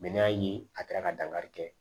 n'a y'a ye a kɛra ka dankari kɛ